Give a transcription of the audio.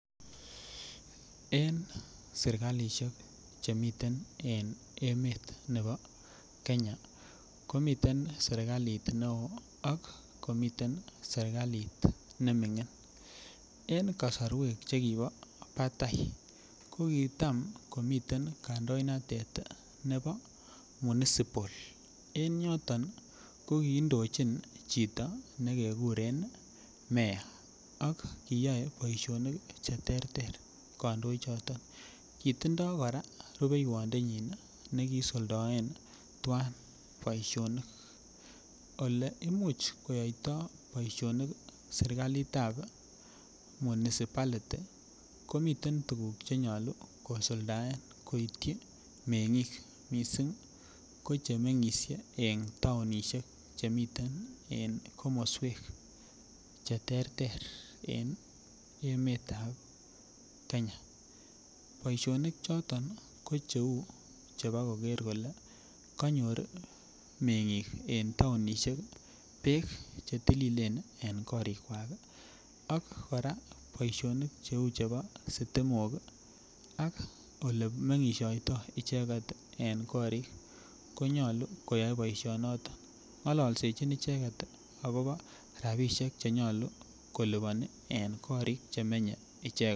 En serkalisiek Che miten en emetab Kenya komiten serkalit neo ak komi serkalit nemingin en kasarwek Che kibo batai ko kitam komiten kandoinatet nebo municipal en yoton ko indochin chito ne kekuren mayor ak kiyae boisionik Che terter kandoichoto kitindoi kora rubeieondenyin ne kiisuldaen tuan boisionik Ole Imuch koyaito boisionik serkalit ab municipality komiten tuguk Che nyolu kosuldaen koityi mengik mising ko Che mengisie en taonisiek Che miten en komoswek Che terter en emet ab Kenya boisionik choton ko cheu chebo koker kole kanyor mengik en taonisiek bek Che telilen en korikwak ak kora boisionik Cheu chebo sitimok ak Ole mengisiotoi icheget en korik ko nyolu koyoe boisinoto ngollisechin icheget agobo rabinik Che liponi en korikwak